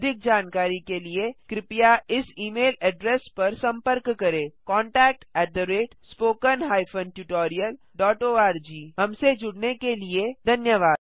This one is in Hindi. अधिक जानकारी के लिए कृपया इस ई मेल एड्रेस पर सम्पर्क करें contactspoken tutorialorg हमसे जुड़ने के लिए धन्यवाद